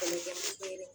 Kɛlɛkɛ